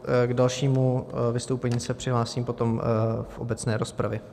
K dalšímu vystoupení se přihlásím potom v obecné rozpravě.